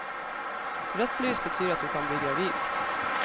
Rødt lys betyr at du kan bli gravid.